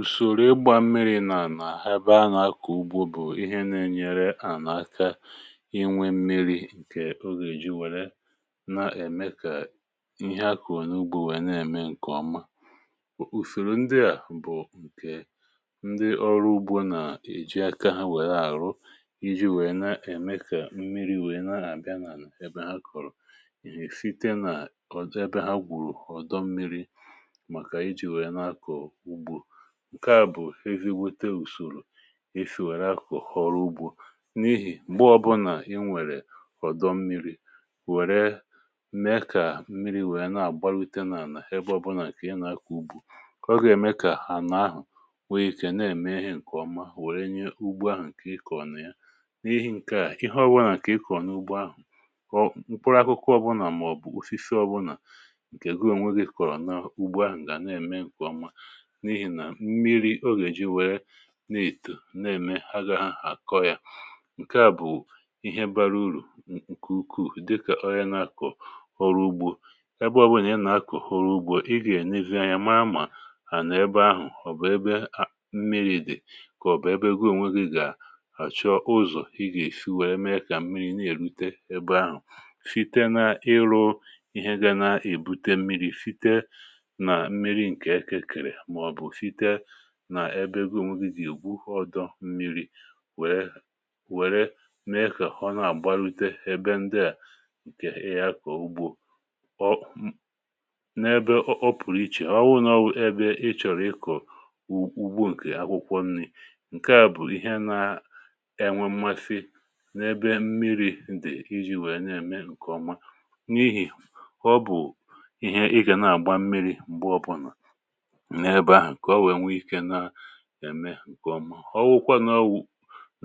Ùsòrò ịgbà mmiri̇ nà nà-àna ebe a nà-akọ̀ ugbò, bụ̀ ihe nà-ènyere à n’aka inwe mmiri̇ nke o gà-èji. Ọ nà-èmekwa kà ihe akọ̀ n’ugbò nwèe na-ème nke ọma. um Ùfèrè ndị à bụ̀ nke ndị ọrụ ugbò nà-èji aka ha, nwèrè àrụrụ, iji̇ wèe na-èmekwa kà mmiri̇ wèe na-àbịa nà ebe ha kọ̀rọ̀. Ìhè sitere nà ebe ha gwùrù ọ̀dọ̀ mmiri̇, nke à bụ̀ ezi gwètè ùsòrò e si wèrè akụ̀ ọrụ ugbò. N’ihi ya, ọbụnà i nwèrè ọ̀dọ̀ mmiri̇, wèrè mee kà mmiri̇ wèe na-àgbàlùté n’àlà ebe ọbụnà kà i nà-àkwụ ugbò, ọ gà-èmè kà àhụ nwee ike um na-ème ihe nke ọma, wèe mee kà ugbò ahụ̀ nke i kọ̀rọ̀ nwee uru. Ihe ọbụnà kà i kọ̀rọ̀ n’ugbò ahụ̀, ọ mụ̀kpụrụ̀ akụkụ ọbụnà màọ̀bụ̀ ufizi ọbụnà, um nke goo onwe gị kọ̀rọ̀ n’ugbò ahụ̀, gà na-ème nke ọma, n’ihi nà mmiri̇ o gà-èji, nwèrè na-ètù, na-ème àgà ha àkọ̀ ya... Nke à bụ̀ ihe bara uru nke ukwuù, dịkà ọrịa nà-akọ̀ họrụ̇ ugbò. Ebe òbè nà ya nà-akọ̀ họrụ̇ ugbò, ị gà-ènè vid yà màà, mà nà ebe ahụ̀ ọ̀ bụ̀ ebe mmiri̇ dị̀, kà ọ̀ bụ̀ ebe gụò... um nwegì. Gà àchọ ụzọ̀ ị gà-èfi, wèrè mee kà mmiri̇ na-èrùté ebe ahụ̀. Fite n’ịrụ̇ ihe gà na-èbùte mmiri̇ site nà mmiri̇ nke eke kèrè, nà ebe e gò nwigizi ugbò, ọdọ̀ mmiri̇ wèe wèrè na ịkwà họ̀ nà àgbàlùté ebe ndịà. Nke ị yà akà ugbò, ọ n’ebe ọ pụ̀rụ̀ iche. Ọ wụ nà ọ ebe ị chọ̀rọ̀ ịkọ̀ ugbò nke akwụkwọ nri. Nke à bụ̀ ihe na-enwe mmafè n’ebe mmiri̇ dị̀, iji̇ wèe na-ème nke ọma, n’ihi họ̀ bụ̀ ihe ị gà nà-àgba mmiri̇. M̀gbè ọbọlà, è mee nke ọma. Ọ wụkwa n’ọwụ̀,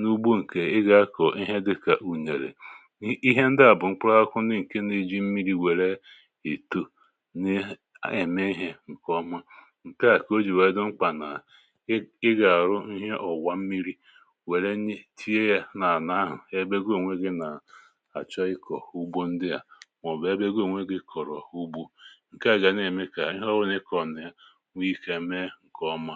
n’ugbò nke ị gà-akọ̀ ihe dịkà ùnyèrè, ihe ndị à bụ̀ mkpụrụ̀ akụ̀, n’ìkè, na-eji mmiri̇ um wèrè ìtù n’ḕme ihe nke ọma. Nke à kà o jì wèe dọ̀mkpànà, ị gà-àrụ̀ ihe ọ̀wà mmiri̇, wèrè tinye yà n’àlà ahụ̀, ebe goo nweghi̇, nà-achọ ịkọ̀ ugbò ndị à, màọ̀bụ̀ ebe ego ònwe gị kọ̀rọ̀ ugbò. Nke à gà na-ème kà ihe ọ wụnye kọ̀nà ya nke ọma.